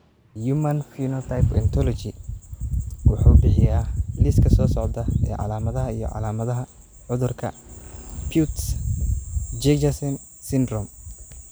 The Human Phenotype Ontology wuxuu bixiyaa liiska soo socda ee calaamadaha iyo calaamadaha cudurka Peutz Jeghers syndrome.